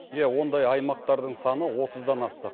иә ондай аймақтардың саны отыздан асты